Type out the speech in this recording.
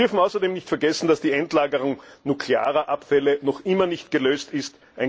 Wir dürfen außerdem nicht vergessen, dass die Endlagerung nuklearer Abfälle noch immer nicht gelöst ist.